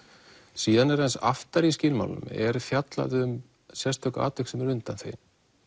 síðan aðeins aftar í skilmálanum er fjallað um sérstök atvik sem eru undanþegin